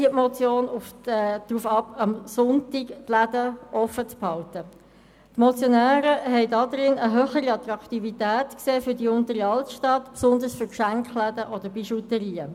Die Motionäre sehen darin eine Möglichkeit, die Attraktivität der Unteren Altstadt zu erhöhen, was besonders Geschenkeläden und Bijouterien zugute käme.